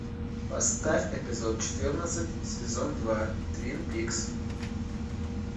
поставь эпизод четырнадцать сезон два твин пикс